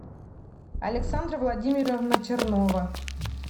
александра владимировна чернова